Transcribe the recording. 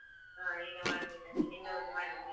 ಹಾ ಈಗ ಮಾಡ್ಬೇಕು ಅದೇ ಮಾಡ್ಬೇಕು ಈಗ.